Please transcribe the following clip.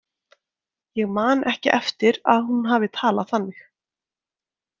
Ég man ekki eftir að hún hafi talað þannig.